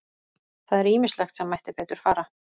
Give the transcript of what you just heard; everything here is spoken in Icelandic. Það er ýmislegt sem mætti betur fara.